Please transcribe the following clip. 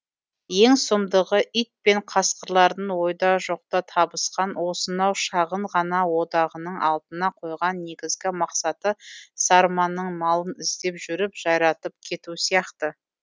ең сұмдығы ит пен қасқырлардың ойда жоқта табысқан осынау шағын ғана одағының алдына қойған негізгі мақсаты сарманың малын іздеп жүріп жайратып кету сияқты